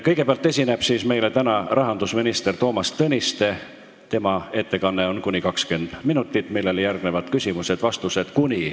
Kõigepealt esineb meile rahandusminister Toomas Tõniste, tema ettekanne kestab kuni 20 minutit, sellele järgnevad küsimused ja vastused .